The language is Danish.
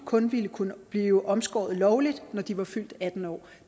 kun ville kunne blive omskåret lovligt når de er atten år